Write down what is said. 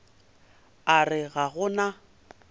a re ga go na